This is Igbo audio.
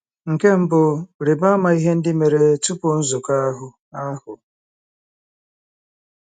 Nke mbụ, rịba ama ihe ndị mere tupu nzukọ ahụ. ahụ.